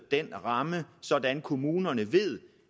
den ramme sådan at kommunerne ved